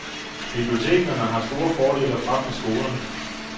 Bibliotekerne har to store fordele frem for skolerne.